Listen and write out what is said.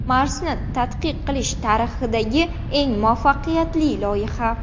Marsni tadqiq qilish tarixidagi eng muvaffaqiyatli loyiha.